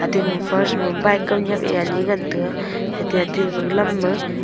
ate gama first ma bike kaunyak e ani ngan tega ete ate gaga lam ma--